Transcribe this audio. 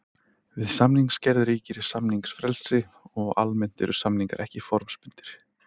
Við samningsgerð ríkir samningsfrelsi og almennt eru samningar ekki formbundnir.